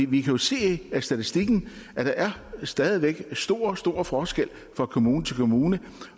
vi kan jo se af statistikken at der stadig væk er stor stor forskel fra kommune til kommune